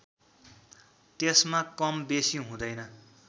त्यसमा कम बेसी हुँदैन